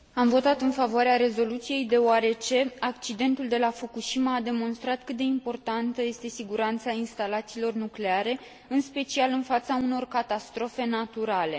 Am votat în favoarea rezoluției, deoarece accidentul de la Fukushima a demonstrat cât de importantă este siguranța instalațiilor nucleare, în special în fața unor catastrofe naturale.